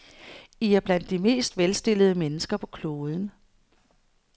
I er blandt de mest velstillede mennesker på kloden.